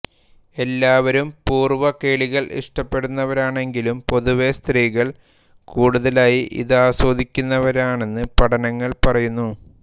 എല്ലാവരും പൂർവകേളികൾ ഇഷ്ടപ്പെടുന്നവരാണെങ്കിലും പൊതുവേ സ്ത്രീകൾ കൂടുതലായി ഇതാസ്വദിക്കുന്നവരാണെന്ന് പഠനങ്ങൾ പറയുന്നു